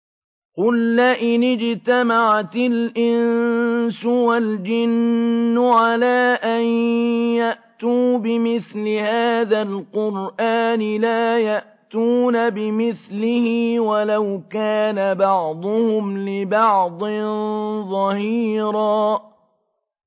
قُل لَّئِنِ اجْتَمَعَتِ الْإِنسُ وَالْجِنُّ عَلَىٰ أَن يَأْتُوا بِمِثْلِ هَٰذَا الْقُرْآنِ لَا يَأْتُونَ بِمِثْلِهِ وَلَوْ كَانَ بَعْضُهُمْ لِبَعْضٍ ظَهِيرًا